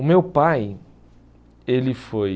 O meu pai, ele foi...